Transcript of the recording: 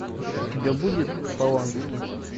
у тебя будет полански